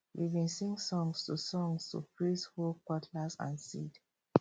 we bin sing songs to songs to praise hoe cutlass and seed